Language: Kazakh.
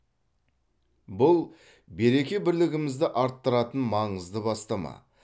бұл береке бірлігімізді арттыратын маңызды бастама